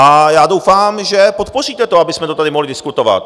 A já doufám, že podpoříte to, abychom to tady mohli diskutovat.